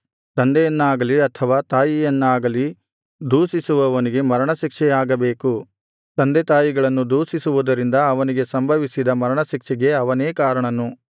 ತಂದೆಯನ್ನಾಗಲಿ ಅಥವಾ ತಾಯಿಯನ್ನಾಗಲಿ ದೂಷಿಸುವವನಿಗೆ ಮರಣಶಿಕ್ಷೆಯಾಗಬೇಕು ತಂದೆತಾಯಿಗಳನ್ನು ದೂಷಿಸುವುದರಿಂದ ಅವನಿಗೆ ಸಂಭವಿಸಿದ ಮರಣಶಿಕ್ಷೆಗೆ ಅವನೇ ಕಾರಣನು